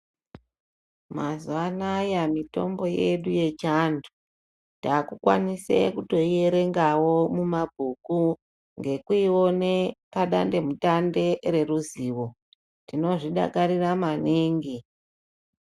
Mazuva anaya mitombo yedu ye chiandu taku kwanise kutoi erengawo mu mabhuku ngekuone pa dande mutande re ruzivo tinozvi dakarira maningi.